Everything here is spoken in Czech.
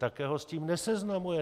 Také ho s tím neseznamuje.